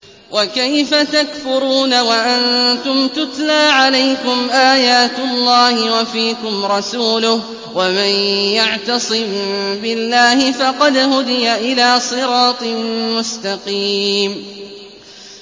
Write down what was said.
وَكَيْفَ تَكْفُرُونَ وَأَنتُمْ تُتْلَىٰ عَلَيْكُمْ آيَاتُ اللَّهِ وَفِيكُمْ رَسُولُهُ ۗ وَمَن يَعْتَصِم بِاللَّهِ فَقَدْ هُدِيَ إِلَىٰ صِرَاطٍ مُّسْتَقِيمٍ